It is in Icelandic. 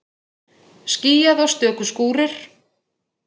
Skýjað og stöku skúrir